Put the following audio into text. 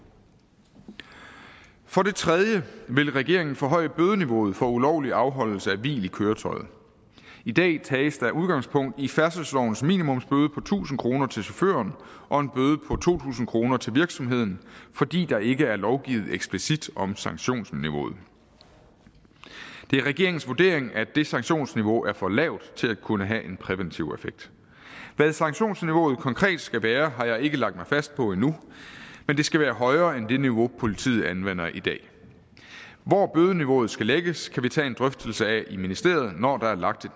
for det tredje vil regeringen forhøje bødeniveauet for ulovlig afholdelse af hvil i køretøjet i dag tages der udgangspunkt i færdselslovens minimumsbøde på tusind kroner til chaufføren og en bøde på to tusind kroner til virksomheden fordi der ikke er lovgivet eksplicit om sanktionsniveauet det er regeringens vurdering at det sanktionsniveau er for lavt til at kunne have en præventiv effekt hvad sanktionsniveauet konkret skal være har jeg ikke lagt mig fast på endnu men det skal være højere end det niveau politiet anvender i dag hvor bødeniveauet skal lægges kan vi tage en drøftelse af i ministeriet når der er lagt